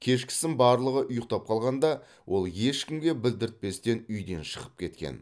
кешкісін барлығы ұйықтап қалғанда ол ешкімге білдіртпестен үйден шығып кеткен